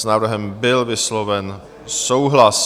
S návrhem byl vysloven souhlas.